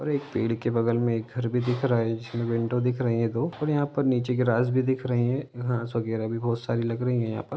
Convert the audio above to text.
और एक पेड़ के बगल में एक घर भी दिख रहा है जिस में विंडो दिख रही है दो और यहा पर नीचे ग्रास भी दिख रही है घास वगेरा भी बहोत सारी लग रही है यहा पर--